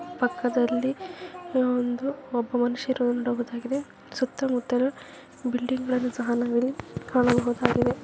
ಪಕ್ಕದಲ್ಲಿ ಈ ಒಂದು ಒಬ್ಬ ಮನುಷ್ಯ ಇರೋದು ನೋಡಬಹುದಾಗಿದೆ ಸುತ್ತಮುತ್ತಲು ಬಿಲ್ಡಿಂಗ್ಸ್ ಗಳನ್ನು ಸಹ ನಾವು ಕಾಣಬಹುದಾಗಿದೆ.